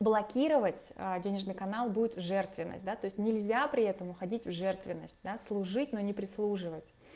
блокировать денежный канал будет жертвенность да то есть нельзя при этом уходить в жертвенность да служить но не прислуживать